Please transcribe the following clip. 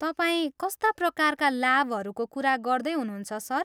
तपाईँ कस्ता प्रकारका लाभहरूको कुरा गर्दै हुनुहुन्छ, सर?